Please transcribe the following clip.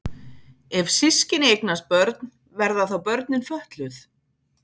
Ef systkini eignast börn verða þá börnin fötluð?